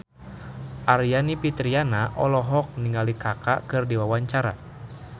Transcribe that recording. Aryani Fitriana olohok ningali Kaka keur diwawancara